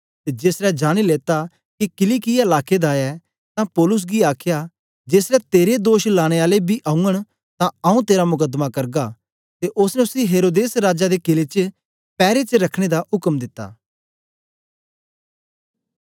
ते जेसलै जानी लेता के किलिकिया लाके दा ऐ तां पौलुस गी आखया जेसलै तेरे दोष लाने आले बी औगन तां आंऊँ तेरा मुकदमा करगा ते ओसने उसी हेरोदेस राजा दे कीले च पैरे च रखने दा उक्म दिता